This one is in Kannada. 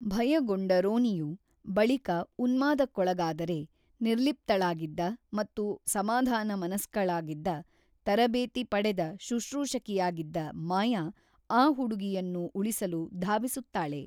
ಭಯಗೊಂಡ ರೋನಿಯು, ಬಳಿಕ ಉನ್ಮಾದಕ್ಕೊಳಗಾದರೆ, ನಿರ್ಲಿಪ್ತಳಾಗಿದ್ದ ಮತ್ತು ಸಮಾಧಾನಮನಸ್ಕಳಾಗಿದ್ದ, ತರಬೇತಿ ಪಡೆದ ಶುಶ್ರೂಷಕಿಯಾಗಿದ್ದ ಮಾಯಾ ಆ ಹುಡುಗಿಯನ್ನು ಉಳಿಸಲು ಧಾವಿಸುತ್ತಾಳೆ.